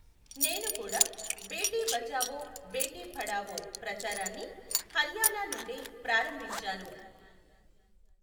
నేను కూడా బేటీ బచావో బేటీ పఢావో ప్రచారాన్ని హర్యానా నుండే ప్రారంభించాను.